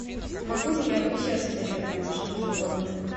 могу ли я вообще содержать домашнее животное